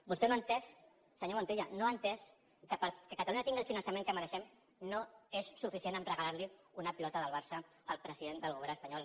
vostè no ha entès senyor montilla no ha entès que perquè catalunya tingui el finançament que mereixem no és suficient regalar li una pilota del barça al president del govern espanyol